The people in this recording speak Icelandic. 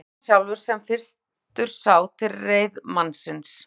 En það var hann sjálfur sem fyrstur sá til reiðmannsins.